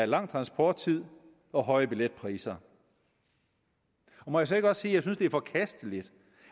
lang transporttid og høje billetpriser må jeg så ikke også jeg synes det er forkasteligt